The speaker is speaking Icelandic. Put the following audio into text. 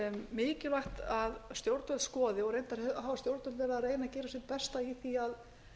mikilvægt að stjórnvöld skoði og reyndar hafa stjórnvöld verið að reyna að gera sitt besta í því að